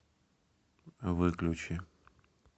выключи